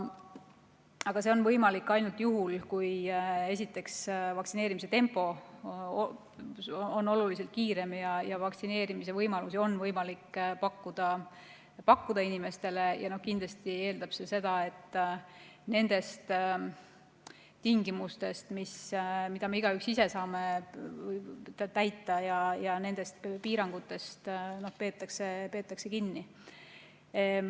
Aga see on võimalik ainult juhul, kui, esiteks, vaktsineerimise tempo on oluliselt kiirem ja vaktsineerimise võimalusi on võimalik pakkuda inimestele ja kindlasti eeldab see seda, et nendest tingimustest, mida me igaüks ise saame täita, ja nendest piirangutest peetakse kinni.